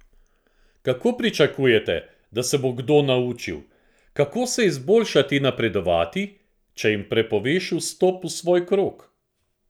Kako pričakujete, da se bo kdo naučil, kako se izboljšati in napredovati, če jim prepoveš vstop v svoj krog?